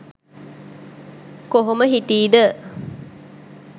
කොහොම හිටී ද?